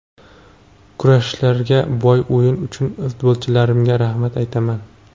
Kurashlarga boy o‘yin uchun futbolchilarimga rahmat aytaman.